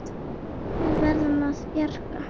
Við verðum að bjarga honum.